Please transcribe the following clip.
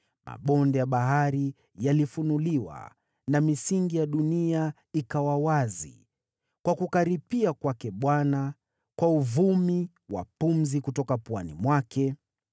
Mabonde ya bahari yalifunuliwa, na misingi ya dunia ikawa wazi kwa kukaripia kwake Bwana , kwa uvumi wa pumzi kutoka puani mwake.